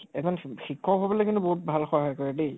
এজন শিক্ষ্ক হবলৈ কিন্তু বহুত ভাল ভাল সহায় কৰে দেই ।